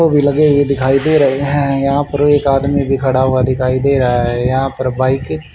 को भी लगे हुए दिखाई दे रहे हैं यहां पर एक आदमी भी खड़ा हुआ दिखाई दे रहा है यहां पर बाइके --